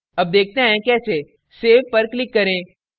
अब देखते हैं कैसे सेव पर click करें